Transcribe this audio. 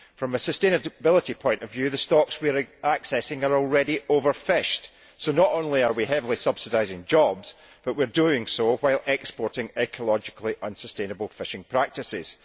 From a sustainability point of view, the stocks we are accessing are already overfished, so not only are we heavily subsidising jobs, but we are doing so while exporting ecologically unsustainable fishing practices.